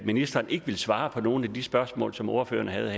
ministeren ikke svare på nogen af de spørgsmål som ordføreren havde